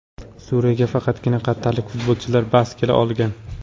Suriyaga faqatgina qatarlik futbolchilar bas kela olgan.